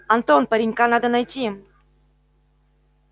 антон паренька надо найти